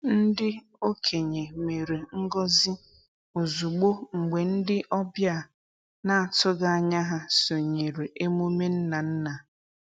Ndị okenye mere ngọzi ozugbo mgbe ndị ọbịa na-atụghị anya ha sonyere emume nna nna.